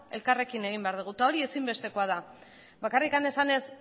elkarrekin egin behar dugu eta hori ezinbestekoa da bakarrik esanez